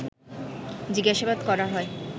জিজ্ঞাসাবাদ করা হয়